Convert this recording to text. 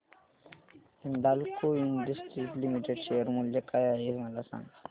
Hindalco industries limited share मूल्य काय आहे मला सांगा